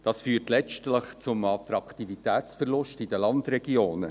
Dies führt letztlich zu einem Attraktivitätsverlust der Landregionen.